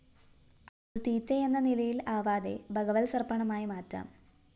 അതു തീറ്റ എന്ന നിലയില്‍ ആവാതെ ഭഗവത്സമര്‍പ്പണമായി മാറ്റാം